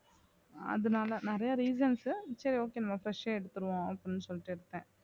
அதுனால நிறைய reasons உ சரி okay நம்ம fresh யே எடுத்துருவோம் அப்படின்னு சொல்லிட்டு எடுத்தேன்